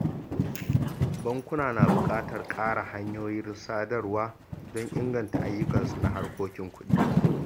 Bankuna na buƙatar ƙara hanyoyin sadarwa don inganta ayyukansu na harkokin kuɗi